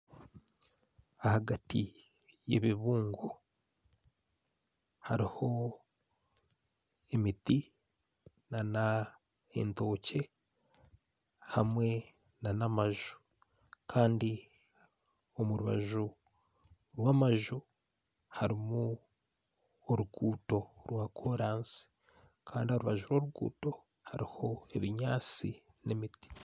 Ahagati y'ebibungo haruho emiti n'entookye hamwe n'amaju Kandi omurubaju rw'amaju harumu oruguuto rwa korasi Kandi aharubaju rw'oruguuto haruho ebinyansi n'emiti.